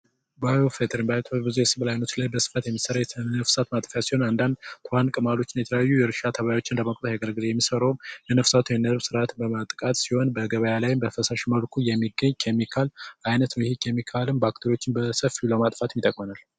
bዮፌትርትወ ብዙ የስብል ዓይኖች ላይ በስፋት የሚሠራ የተነፍሳት ማጠፊያት ሲሆን አንዳንድ ትዋን ቅማሎችን የተያዩ የእርሻ ተባዮችን ለመቆታ ያገረግለ የሚሠረውም የነፍሳቱ የነርቭ ሥርዓት በመጥቃት ሲሆን በገባያ ላይም በፈሳሽ መልኩ የሚገኝ ኬሚካል አይነት ውሂ ኬሚካልም ባክተሪዎችን በሰፍሎማ ጥፋትም ይተቆነል